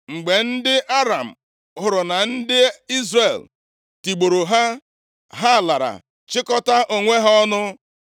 Mgbe ndị Aram hụrụ na ndị Izrel tigburu ha; ha lara, chịkọtaa onwe ha ọnụ.